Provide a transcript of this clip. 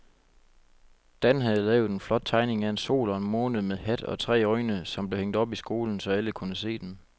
Dan havde lavet en flot tegning af en sol og en måne med hat og tre øjne, som blev hængt op i skolen, så alle kunne se den.